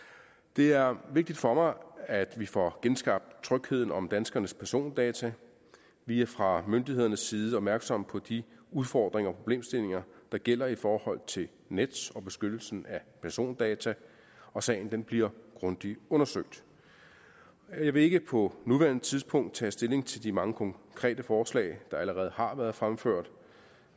det er vigtigt for mig at vi får genskabt trygheden om danskernes persondata vi er fra myndighedernes side opmærksomme på de udfordringer og problemstillinger der gælder i forhold til nets og beskyttelsen af persondata og sagen bliver grundigt undersøgt jeg vil ikke på nuværende tidspunkt tage stilling til de mange konkrete forslag der allerede har været fremført